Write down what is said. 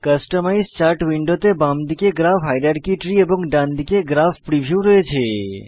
customise chart উইন্ডোতে বামদিকে graph hierarchy tree এবং ডানদিকে গ্রাফ প্রিভিউ রয়েছে